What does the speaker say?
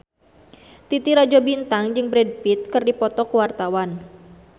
Titi Rajo Bintang jeung Brad Pitt keur dipoto ku wartawan